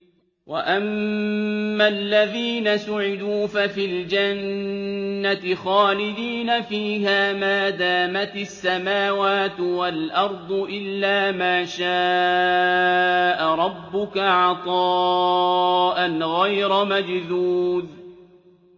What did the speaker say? ۞ وَأَمَّا الَّذِينَ سُعِدُوا فَفِي الْجَنَّةِ خَالِدِينَ فِيهَا مَا دَامَتِ السَّمَاوَاتُ وَالْأَرْضُ إِلَّا مَا شَاءَ رَبُّكَ ۖ عَطَاءً غَيْرَ مَجْذُوذٍ